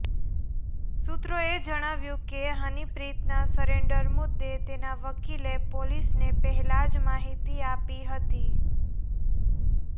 સુત્રોએ જણાવ્યું કે હનીપ્રીતનાં સરેન્ડર મુદ્દે તેનાંવકીલે પોલીસને પહેલા જ માહિતી આપી હતી